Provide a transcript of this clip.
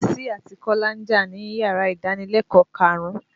Bísí àti Kọ́lá ń jà níyàrá ìdánilẹ̀kọ̀ọ́ karùn-ún.